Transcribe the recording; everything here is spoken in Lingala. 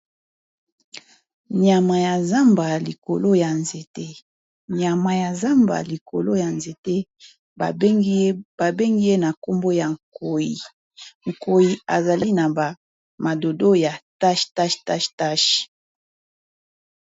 Nyama ya zamba likolo ya nzete babengi ye na nkombo ya nkoi, nkoi azali na ba madodo ya ba tâche tâche tâche.